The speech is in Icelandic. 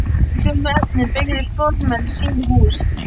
Úr sömu efnum byggðu fornmenn sín hús.